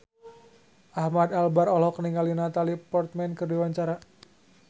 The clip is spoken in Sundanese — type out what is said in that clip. Ahmad Albar olohok ningali Natalie Portman keur diwawancara